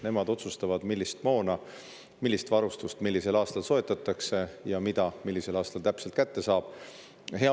Nemad otsustavad, millist moona ja millist varustust millisel aastal soetatakse ja millisel aastal mida täpselt kätte saab.